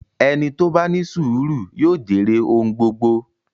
Ẹni tó bá ní sùúrù yóò jèrè ohun gbogbo.